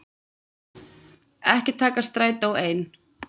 Ekki taka strætó ein.